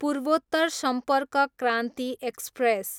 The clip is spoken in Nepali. पूर्वोत्तर सम्पर्क क्रान्ति एक्सप्रेस